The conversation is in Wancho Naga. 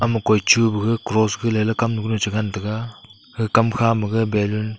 koi chu paga ga cross hoi ley kamnu kunu chi ngan taiga kamkha ma ballon --